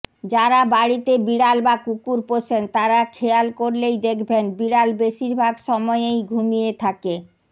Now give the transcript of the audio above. যারা বাড়িতে বিড়াল বা কুকুর পোষেন তারা খেয়াল করলেই দেখবেন বিড়াল বেশিরভাগ সময়েই ঘুমিয়ে থাকে